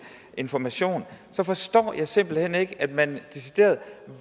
information så forstår jeg simpelt hen ikke at man decideret